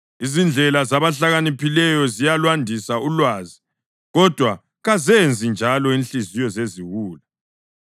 Izindlela zabahlakaniphileyo ziyalwandisa ulwazi, kodwa kazenzi njalo inhliziyo zeziwula.